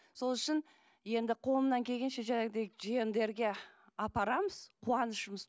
сол үшін енді қолымнан келгенше жиендерге апарамыз қуанышымыз